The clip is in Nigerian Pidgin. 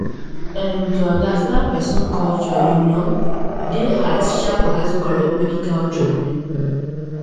erm to understand person culture you know dey just as sharp as correct medical treatment